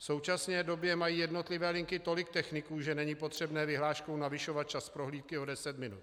V současné době mají jednotlivé linky tolik techniků, že není potřebné vyhláškou navyšovat čas prohlídky o deset minut.